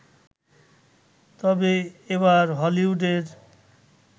তবে এবার হলিউডের